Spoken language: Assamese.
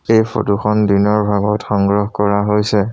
এই ফটো খন দিনৰ ভাগত সংগ্ৰহ কৰা হৈছে।